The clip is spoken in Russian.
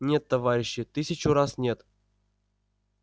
нет товарищи тысячу раз нет